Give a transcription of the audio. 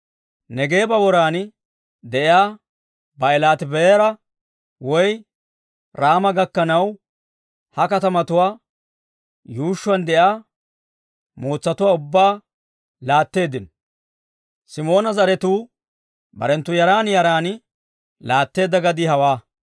Neegeeba woran de'iyaa Baa'ilaati-Ba'eera woy Raama gakkanaw, ha katamatuwaa yuushshuwaan de'iyaa mootsatuwaa ubbaa laatteeddino. Simoona zaratuu barenttu yaran yaran laatteedda gadii hawaa.